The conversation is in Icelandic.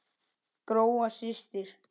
Gróa systir.